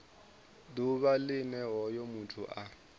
ḓuvha line hoyo muthu a